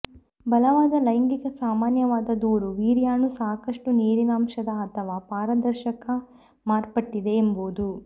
ಬಲವಾದ ಲೈಂಗಿಕ ಸಾಮಾನ್ಯವಾದ ದೂರು ವೀರ್ಯಾಣು ಸಾಕಷ್ಟು ನೀರಿನಂಶದ ಅಥವಾ ಪಾರದರ್ಶಕ ಮಾರ್ಪಟ್ಟಿದೆ ಎಂಬುದು